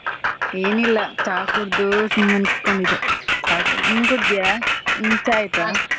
N ಇಲ್ಲ ಚಾ ಕುಡ್ದು ಸುಮ್ಮನೆ ಕೂತ್ಕೊಂಡಿದ್ದೆ. ಚಾ ಕುಡ್ದು ನೀ ಕುಡ್ದಿಯಾ , ನಿಂದು ಚಾ ಆಯ್ತಾ?